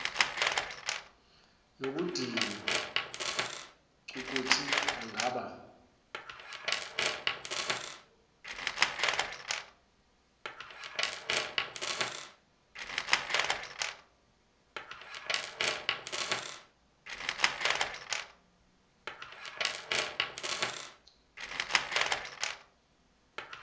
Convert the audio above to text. nokudinwa cukuthi angaba